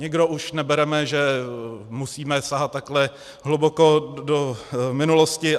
Nikdo už nebereme, že musíme sahat takhle hluboko do minulosti.